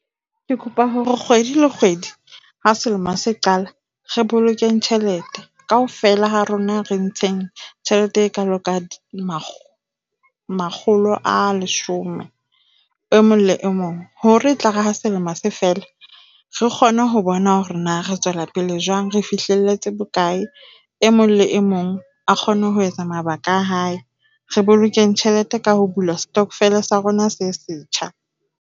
Ke kopa hore kgwedi le kgwedi ha selemo se qala, re boloke tjhelete kaofela ha rona re ntsheng tjhelete e kaalo ka makgolo a leshome. E mong le mong, hore e tlare ha selemo se fela, re kgone ho bona hore na re tswela pele jwang, re fihlelletse bokae. E mong le e mong a kgone ho etsa mabaka a hae. Re boloke tjhelete ka ho bula stockvele sa rona se setjha.